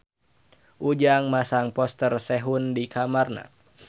Ujang masang poster Sehun di kamarna